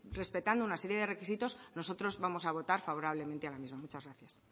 respetando una serie de requisitos nosotros vamos a votar favorablemente a la misma muchas gracias